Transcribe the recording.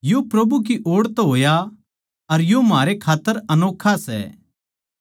यो प्रभु की ओड़ तै होया अर यो म्हारे खात्तर अनोक्खा सै